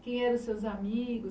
Quem eram os seus amigos?